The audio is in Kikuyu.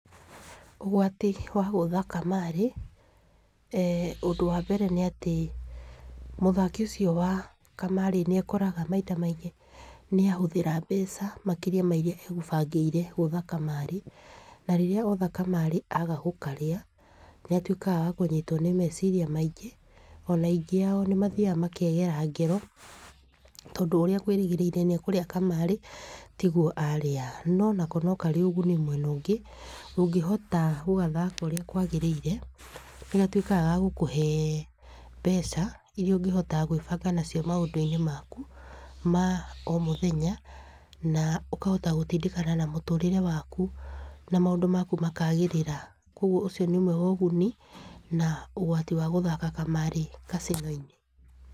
Ũgwati wa gũtha kamarĩ, ũndũ wa mbere nĩ atĩ mũthaki ũcio wa kamarĩ nĩ ekoraga maita maingĩ nĩ ahũthĩra mbeca makĩria ma iria egũbangĩire gũũtha kamarĩ. Na rĩrĩa otha kamarĩ aga gũkarĩa, ni atuĩkaga wa kũnyitwo nĩ meciria maingĩ, ona aingĩ ao nĩ mathiaga makegera ngero, tondũ ũrĩa akwĩrĩgĩire nĩ ekũrĩa kamarĩ tiguo arĩa. No onako no karĩ ũguni mwena ũngĩ. Ũngĩhota gũgathaka ũrĩa kwagĩrĩire, nĩ gatuĩkaga ga gũkũhe mbeca iria ũngĩhota gwĩbanga nacio maũndũ-inĩ maku ma o mũthenya. Na ũkahota gũtindĩkana na mũtũrĩre waku, na maũndũ maku makagĩrĩra. Koguo ũcio nĩ ũmwe wa ũguni, na ũgwati wa gũthaka kamarĩ kacino-inĩ.